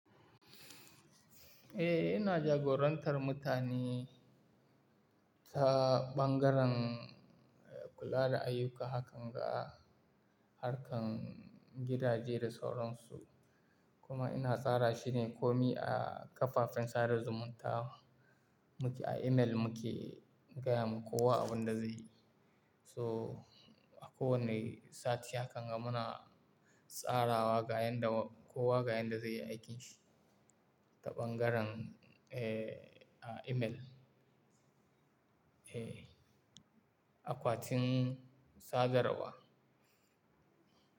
Eh, ina jagorantar mutani ta ɓangaren kula da ayuka hakan ga harkan gidaje da sauransu. Kuma ina tsara shine komi a kafafen sada zumunta. Muke a email muke gaya ma kowa abin da zai yi. So a kowanne sati hakan ga muna tsarawa ga yanda kowa ga yanda zai yi aikin shi ta ɓangaren, eh, a email. Eh, akwatin sadarwa.